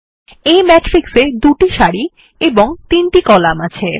এই ম্যাট্রিক্স এ ২ টি সারি এবং ৩ টি কলাম আছে